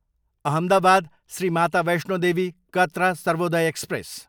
Ahmedabad, Shri Mata Vaishno Devi Katra Sarvodaya express